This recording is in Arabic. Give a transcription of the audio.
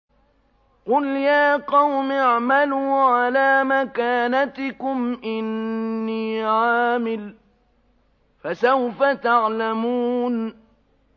قُلْ يَا قَوْمِ اعْمَلُوا عَلَىٰ مَكَانَتِكُمْ إِنِّي عَامِلٌ ۖ فَسَوْفَ تَعْلَمُونَ